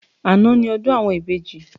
Àná ni ọdún àwọn ìbejì